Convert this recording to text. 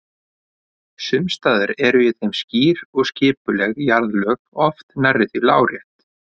Sums staðar eru í þeim skýr og skipuleg jarðlög, oft nærri því lárétt.